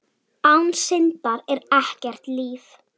Án syndar er ekkert líf.